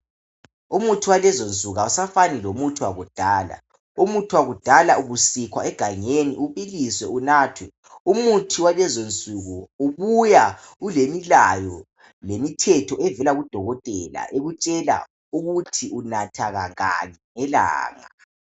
Umuthi walezonsuku awusafani lomuthi wakudala. Umuthi wakudala ubusikhwa egangeni, ubiliswe, unathwe. Umuthi walezonsuku ubuya ulemilayo, lemithetho evela kudokotela ekutshela ukuthi unatha kangaki ngelanga.